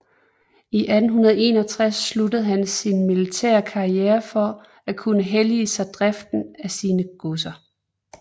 I 1861 afsluttede han sin militære karriere for at kunne hellige sig driften af sine godser